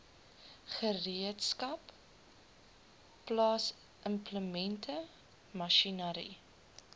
gereedskap plaasimplemente masjinerie